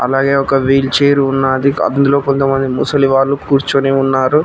అలాగే ఒక wheelchair ఉన్నది కాదు అందులో కొంతమంది ముసలి వాళ్లు కూర్చుని ఉన్నారు